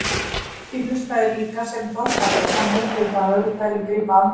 Fólkið hlustaði líka sem dolfallið og hann heyrði það öðru hverju grípa andköf.